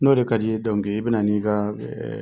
N'o de ka d'i i bɛ na n'i ka